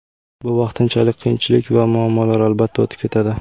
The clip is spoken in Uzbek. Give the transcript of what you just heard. Bu vaqtinchalik qiyinchilik va muammolar, albatta, o‘tib ketadi.